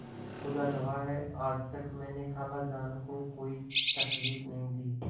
खुदा गवाह है आज तक मैंने खालाजान को कोई तकलीफ नहीं दी